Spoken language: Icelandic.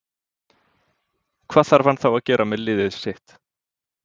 Hvað þarf hann þá að gera með liðið sitt.